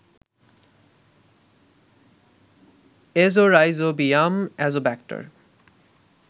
Azorhizobium, Azotobacter